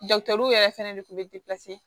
yɛrɛ fɛnɛ de kun be